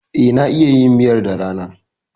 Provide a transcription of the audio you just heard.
E, na iya yin miyar da rana.